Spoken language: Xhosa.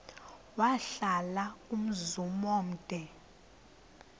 wahlala umzum omde